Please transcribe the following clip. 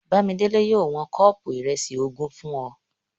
Bámiṣẹ́ yóò wọn kọ́ọ̀pù ìrẹsì ogún fún ọ